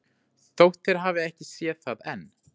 Þótt þeir hafi ekki séð það enn.